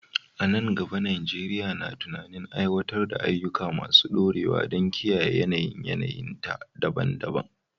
A nan gaba, Najeriya na tunanin aiwatar da ayyuka masu dorewa don kiyaye yanayin yanayinta daban-daban.